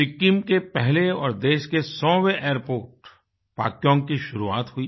सिक्किम के पहले और देश के 100वें एयरपोर्ट पाक्योंग की शुरुआत हुई